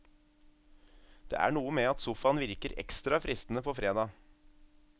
Det er noe med at sofaen virker ekstra fristende på fredag.